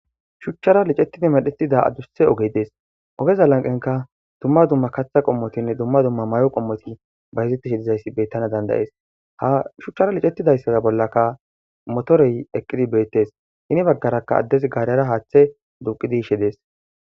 Shuccappe liccetidi medhdhettida adussa oggey dess oggeza lanqqenka dumma dumma kaththa qommotine dumma dumma mayo qommoti bayizettishe diizaysi bettana danda'es ha shuchchara liccetidayssaza bollaka motorey eqqidi bettes heni baggara addezi gaarera haththe duuqi yishshe dessi.